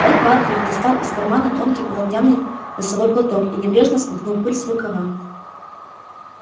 ретт батлер достал из кармана тонкий полотняный носовой платок и небрежно смахнул пыль с рукава